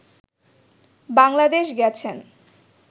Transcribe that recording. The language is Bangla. বাংলাদেশ গেছেন